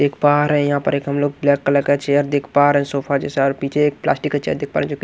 देख पा रहे हैं यहां पर एक हम लोग ब्लैक कलर का चेयर देख पा रहे हैं सोफा जैसा और पीछे एक प्लास्टिक का चेयर देख पा रहे हैंजो की --